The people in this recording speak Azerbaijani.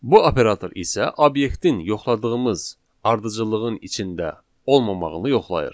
Bu operator isə obyektin yoxladığımız ardıcıllığın içində olmamağını yoxlayır.